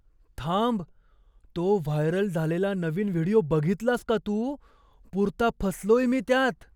थांब, तो व्हायरल झालेला नवीन व्हिडिओ बघितलास का तू? पुरता फसलोय मी त्यात!